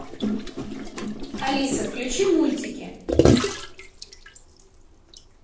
алиса включи мультики